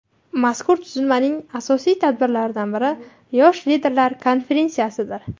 Mazkur tuzilmaning asosiy tadbirlaridan biri Yosh liderlar konferensiyasidir.